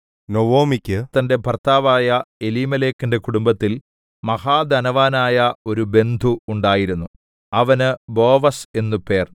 നൊവൊമിക്കു തന്റെ ഭർത്താവായ എലീമേലെക്കിന്റെ കുടുംബത്തിൽ മഹാധനവാനായ ഒരു ബന്ധു ഉണ്ടായിരുന്നു അവന് ബോവസ് എന്നു പേർ